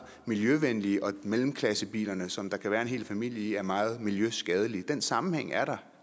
miljøvenlige og at mellemklassebilerne som der kan være en hel familie i er meget miljøskadelige den sammenhæng er der